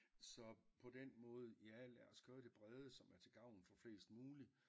Så på den måde ja lad os køre det brede som er til gavn for flest mulig